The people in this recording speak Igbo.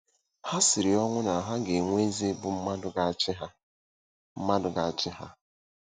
Ha siri ọnwụ na ha ga-enwe eze bụ́ mmadụ ga-achị ha. mmadụ ga-achị ha.